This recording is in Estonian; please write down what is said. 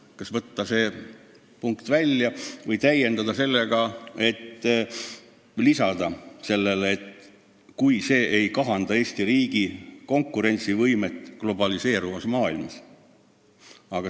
Kas tuleks võtta see punkt välja või lisada sellele, "kui see ei kahanda Eesti riigi konkurentsivõimet globaliseeruvas maailmas"?